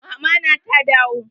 Mama na ta dawo?